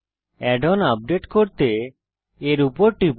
add on update করতে এর উপর টিপুন